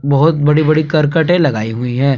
बहुत बड़ी बड़ी करकटे लगाई हुई है।